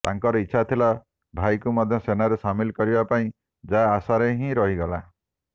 ତାଙ୍କର ଇଚ୍ଛା ଥିଲା ଭାଇକୁ ମଧ୍ୟ ସେନାରେ ସାମିଲ କରିବା ପାଇଁ ଯାହା ଆଶାରେ ହିଁ ରହିଗଲା